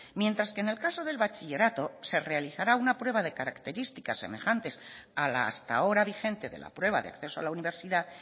mientras que en el caso del bachillerato se realizará una prueba de características semejantes a la hasta ahora vigente de la prueba de acceso a la universidad